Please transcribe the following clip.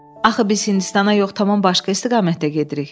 Axı biz Hindistana yox, tamam başqa istiqamətdə gedirik.